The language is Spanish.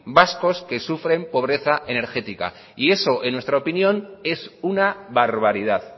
vascos que sufren pobreza energética y eso en nuestra opinión es una barbaridad